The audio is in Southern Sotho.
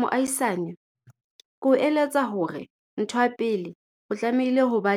Moahisane, ke o eletsa hore ntho ya pele o tlamehile ho ba